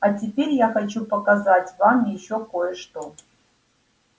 а теперь я хочу показать вам ещё кое-что